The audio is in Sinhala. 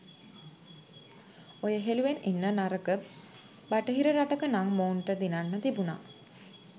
ඔය හෙළුවෙන් ඉන්න නරක බටහිර රටක නං මුන්ට දිනන්න තිබ්බා.